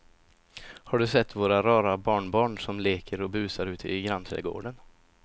Har du sett våra rara barnbarn som leker och busar ute i grannträdgården!